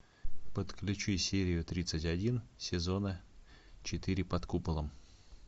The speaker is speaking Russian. подключи серию тридцать один сезона четыре под куполом